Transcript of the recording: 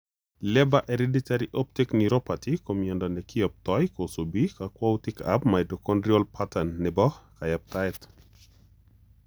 Leber hereditary optic neuropathy ko miondo nekiyoptoi kosubi kakwauitikab mitochondrial pattern nebo kayaptaet.